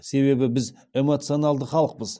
себебі біз эмоционалды халықпыз